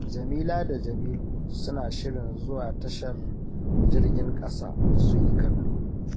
Jamila da Jamilu suna shirin zuwa tashar jirgin ƙasa su yi kallo